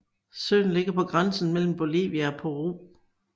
Søen ligger på grænsen mellem Bolivia og Peru